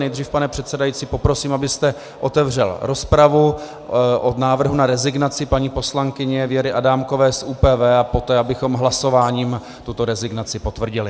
Nejdřív, pane předsedající, poprosím, abyste otevřel rozpravu o návrhu na rezignaci paní poslankyně Věry Adámkové z ÚPV, a poté bychom hlasováním tuto rezignaci potvrdili.